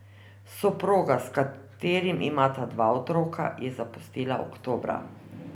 Soproga, s katerim imata dva otroka, je zapustila oktobra.